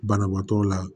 Banabaatɔ la